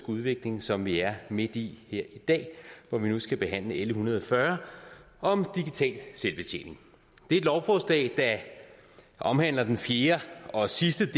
udvikling som vi er midt i her i dag hvor vi nu skal behandle l en hundrede og fyrre om digital selvbetjening det er et lovforslag der omhandler den fjerde og sidste